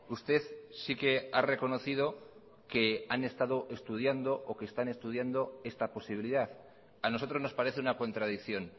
usted sí que ha reconocido que han estado estudiando o que están estudiando esta posibilidad a nosotros nos parece una contradicción